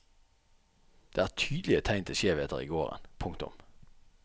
Det er tydelige tegn til skjevheter i gården. punktum